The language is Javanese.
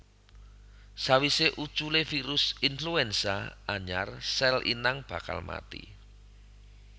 Sawisé uculé virus influenza anyar sèl inang bakal mati